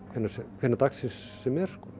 hvenær hvenær dagsins sem er